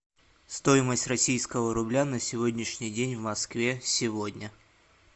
стоимость российского рубля на сегодняшний день в москве сегодня